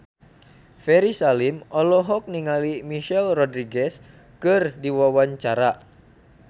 Ferry Salim olohok ningali Michelle Rodriguez keur diwawancara